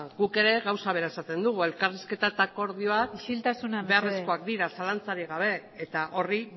guk ere gauza bera esaten dugu elkarrizketa eta akordioak isiltasuna mesedez beharrezkoak dira zalantzarik gabe eta horri